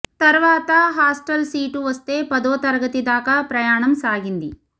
తర్వాత hostel seat వస్తే పదో తరగతి దాకా ప్రయాణం సాగింది